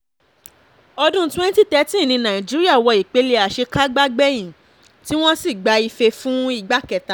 ọdún twenty thirteen ní nàìjíríà wọ ìpele àṣekágbá gbẹ̀yìn tí wọ́n sì gba ìfe fún ìgbà kẹta